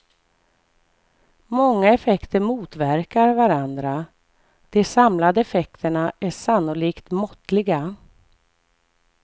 Många effekter motverkar varandra, de samlade effekterna är sannolikt måttliga.